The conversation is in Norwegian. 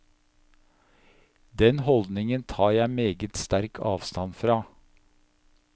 Den holdningen tar jeg meget sterk avstand fra.